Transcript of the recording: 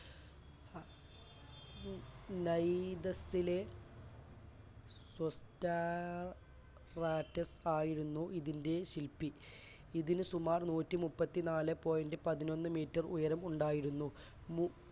നൈ~നൈദസ്സിലെ സൊപ്റ്റാ~പ്ലാറ്റിസ് ആയിരുന്നു ഇതിൻറെ ശില്പി ഇതിൽ സുമാർ നൂറ്റിമൂപ്പത്തിന്നാലെ point പതിനൊന്ന് metre ഉയരം ഉണ്ടായിരുന്നു. മു